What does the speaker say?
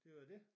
Det var dét